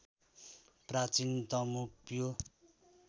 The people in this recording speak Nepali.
प्राचीन तमु प्यो